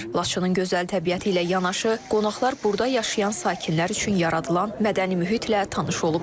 Laçının gözəl təbiəti ilə yanaşı, qonaqlar burada yaşayan sakinlər üçün yaradılan mədəni mühitlə tanış olublar.